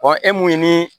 e mun ye ni